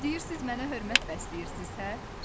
Deyirsiz mənə hörmət bəsləyirsiz, hə?